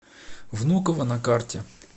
внуково на карте